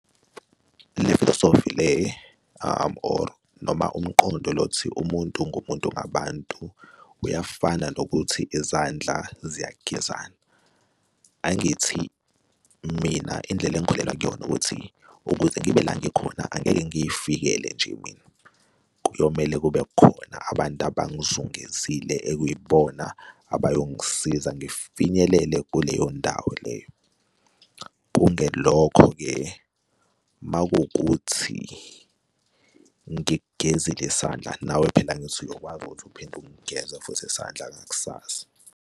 Le filosofi le or noma umqondo lo othi umuntu ngumuntu ngabantu uyafana nokuthi izandla ziyagezana. Angithi mina indlela engikholelwa kuyona ukuthi ukuze ngibe la ngikhona angeke ngiy'fikele nje mina. Kuyomele kube khona abantu abangzungezile ekwibona abayongisiza ngifinyelele kuleyo ndawo leyo. Kungelokho-ke uma kuwukuthi ngikgezile isandla, nawe phela angithi uyokwazi ukuthi uphinde ukungeza futhi isandla ngakusasa.